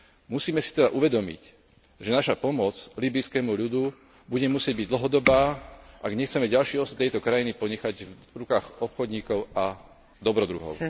Musíme si teda uvedomiť, že naša pomoc líbyjskému ľudu bude musieť byť dlhodobá, ak nechceme ďalší osud tejto krajiny ponechať v rukách obchodníkov a dobrodruhov.